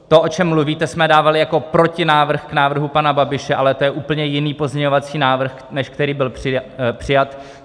To, o čem mluvíte, jsme dávali jako protinávrh k návrhu pana Babiše, ale to je úplně jiný pozměňovací návrh, než který byl přijat.